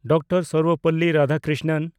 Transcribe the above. doctor Sarvepalli Radhakrishnan